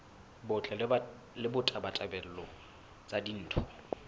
botle le ditabatabelo tsa ditho